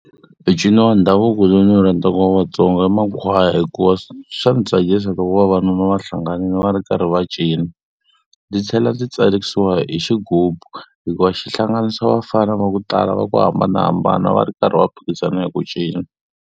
Micino ya ndhavuko lowu ndzi wu rhandzaka wa Vatsonga i makhwaya hikuva swa ndzi tsakisa loko vavanuna va hlanganile va ri karhi va cina. Ndzi tlhela ndzi tsakisiwa hi xigubu hikuva xihlanganisa vafana va ku tala va ku hambanahambana va ri karhi va phikizana hi ku cina.